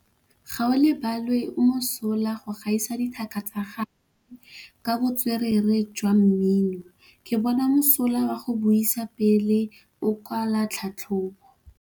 Gaolebalwe o mosola go gaisa dithaka tsa gagwe ka botswerere jwa mmino. Ke bone mosola wa go buisa pele o kwala tlhatlhobô.